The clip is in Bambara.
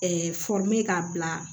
k'a bila